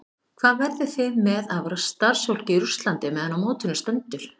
Hvað verðið þið með af starfsfólki í Rússlandi meðan á mótinu stendur?